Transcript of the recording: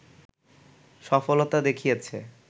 সফলতা দেখিয়েছে